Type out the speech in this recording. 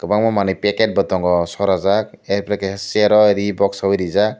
omo manui packetbo tongo sorajak arpore chair o ree sogui reejak.